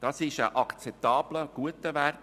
Das ist ein akzeptabler Wert.